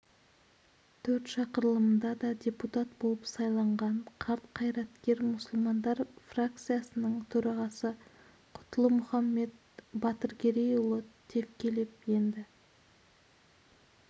төрт шақырылымында да депутат болып сайланған қарт қайраткер мұсылмандар фракциясының төрағасы құтлы-мұхаммед батыргерейұлы тевкелев енді